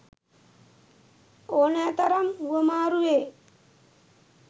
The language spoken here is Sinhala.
ඕනෑතරම් හුවමාරු වේ